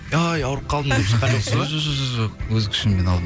ай ауырып қалдым деп шыққан жоқсыз ба жоқ өз күшіммен алдым